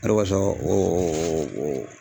Ale ko sɔn bɛ o o o o.